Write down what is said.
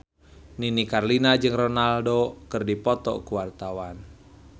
Nini Carlina jeung Ronaldo keur dipoto ku wartawan